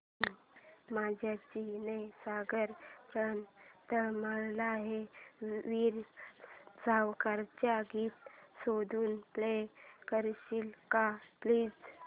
ने मजसी ने सागरा प्राण तळमळला हे वीर सावरकरांचे गीत शोधून प्ले करशील का प्लीज